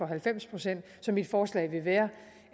halvfems procent så mit forslag vil være